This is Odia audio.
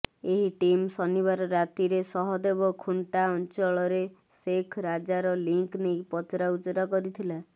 ଏହି ଟିମ୍ ଶନିବାର ରାତିରେ ସହଦେବଖୁଣ୍ଟା ଅଞ୍ଚଳରେ ଶେଖ୍ ରାଜାର ଲିଙ୍କ ନେଇ ପଚରା ଉଚରା କରିଥିଲା